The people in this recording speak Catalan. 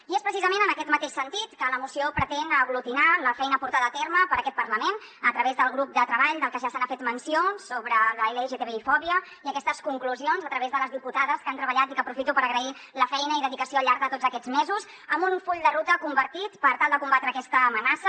i és precisament en aquest mateix sentit que la moció pretén aglutinar la feina portada a terme per aquest parlament a través del grup de treball del que ja s’ha fet menció sobre la lgtbi fòbia i aquestes conclusions a través de les diputades que hi han treballat i aprofito per agrair la feina i dedicació al llarg de tots aquests mesos amb un full de ruta compartit per tal de combatre aquesta amenaça